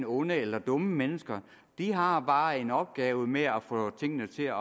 onde eller dumme mennesker de har bare en opgave med at få tingene til